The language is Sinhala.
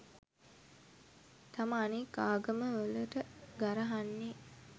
තම අනික් ආගම වලට ගරහන්නේ.